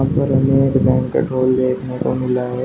और हमें एक बैंक्वेट हॉल देखने को मिल है।